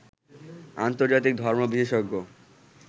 আন্তর্জাতিক ধর্ম বিশেষজ্ঞ